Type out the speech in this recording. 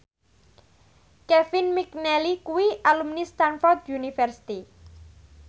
Kevin McNally kuwi alumni Stamford University